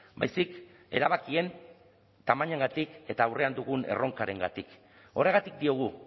baizik erabakien tamainagatik eta aurrean dugun erronkarengatik horregatik diogu